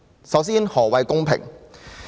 首先，何謂公平？